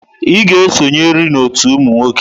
Ị ga-esonyerịrị n'ọtú ụmụ nwoke!